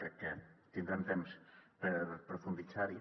crec que tindrem temps per profunditzar hi